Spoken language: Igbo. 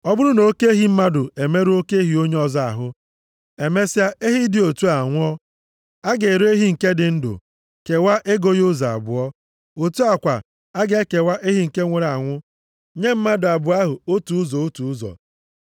“Ọ bụrụ na oke ehi mmadụ emerụọ oke ehi onye ọzọ ahụ, emesịa ehi dị otu a anwụọ, a ga-ere ehi nke dị ndụ, kewaa ego ya ụzọ abụọ. Otu a kwa, a ga-ekewa ehi nke nwụrụ anwụ, nye mmadụ abụọ ahụ otu ụzọ otu ụzọ.